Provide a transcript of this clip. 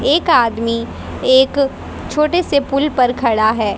एक आदमी एक छोटे से पुल पर खड़ा है।